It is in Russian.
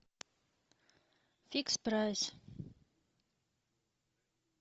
фикс прайс